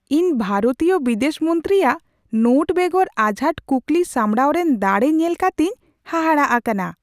ᱤᱧ ᱵᱷᱟᱨᱚᱛᱤᱭᱟᱹ ᱵᱤᱫᱮᱥ ᱢᱚᱱᱛᱨᱤᱭᱟᱜ ᱱᱳᱴ ᱵᱮᱜᱚᱨ ᱟᱡᱷᱟᱴ ᱠᱩᱠᱞᱤ ᱥᱟᱢᱲᱟᱣ ᱨᱮᱱ ᱫᱟᱲᱮ ᱧᱮᱞ ᱠᱟᱛᱮᱧ ᱦᱟᱦᱟᱲᱟᱜ ᱟᱠᱟᱱᱟ ᱾